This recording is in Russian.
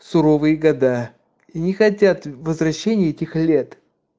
суровые года и не хотят возвращения этих лет